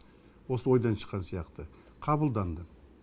осы ойдан шыққан сияқты қабылданды